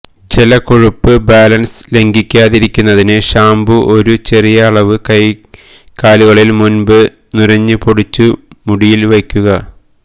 ജല കൊഴുപ്പ് ബാലൻസ് ലംഘിക്കാതിരിക്കുന്നതിന് ഷാമ്പൂ ഒരു ചെറിയ അളവ് കൈക്കലുകളിൽ മുൻപ് നുരഞ്ഞുപൊടിച്ചു മുടിയിൽ വയ്ക്കുക